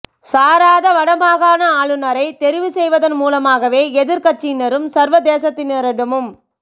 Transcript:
சாராத வடமாகாண ஆளுநரை தெரிவு செய்வதன் மூலமாகவே எதிர் கட்சியினரும் சர்வதேசத்தினரிடமும்